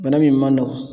Bana min man nɔgɔn